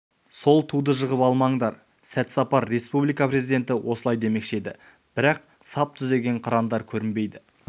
сол туды жығып алмаңдар сәт сапар республика президенті осылай демекші еді бірақ сап түзеген қырандар көрінбейді